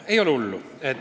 Ei ole hullu!